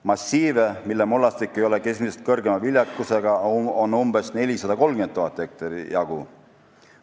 Massiive, mille mullastik ei ole keskmisest kõrgema viljakusega, on umbes 430 000 hektari jagu.